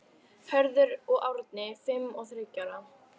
Hörður og Árni, fimm og þriggja ára.